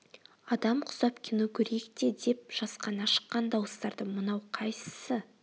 адам құсап кино көрейік те деп жасқана шыққан дауыстарды мынау қайсысы